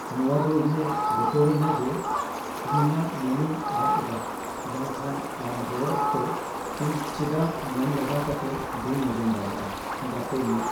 ᱱᱚᱶᱟ ᱫᱚ ᱤᱧᱮ ᱵᱚᱛᱚᱨ ᱟᱹᱧᱟᱹ ᱡᱮ ᱤᱧ ᱤᱧᱟᱹᱜ ᱢᱚᱱᱮᱧ ᱟᱫ ᱮᱫᱟ, ᱵᱟᱝᱠᱷᱟᱱ, ᱟᱢ ᱨᱚᱲ ᱚᱠᱛᱚ ᱤᱧ ᱪᱮᱫᱟᱜ ᱢᱚᱱ ᱞᱟᱜᱟᱣ ᱠᱟᱛᱮ ᱵᱟᱹᱧ ᱟᱸᱡᱚᱢ ᱫᱟᱲᱮᱭᱟᱜᱼᱟ ? (ᱜᱟᱛᱮ 1)